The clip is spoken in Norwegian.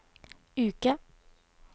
uke